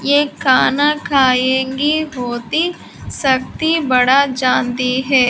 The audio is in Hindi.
ये खाना खाएंगी होती सकती बड़ा जानती है।